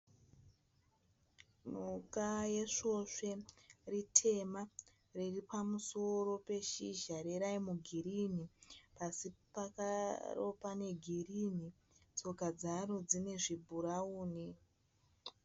Mhuka yesvosve ritema. Riripamusoro peshizha reraimi girini. Pasi paro pane girini. Tsoka dzaro dzine zvibhurauni.